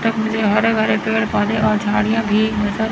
मुझे हरे भरे पेड़ पौधे और झाड़ियां भी नजर--